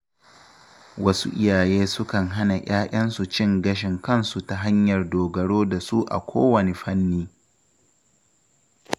Wasu iyaye sukan hana ‘ya‘yansu cin gashin kansu ta hanyar dogaro da su a kowane fanni.